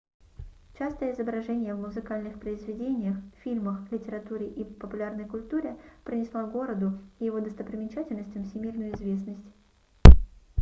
частое изображение в музыкальных произведениях фильмах литературе и популярной культуре принесло городу и его достопримечательностям всемирную известность